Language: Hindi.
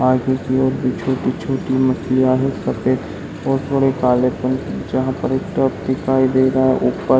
आगे की ओर पे छोटी छोटी मछलियाँ है सफेद और थोड़े कालेपन की जहाँ पर एक ट्रक दिखाई दे रहा है ऊपर --